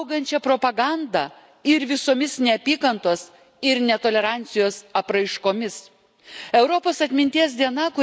Turime kovoti su augančia propaganda ir visomis neapykantos ir netolerancijos apraiškomis.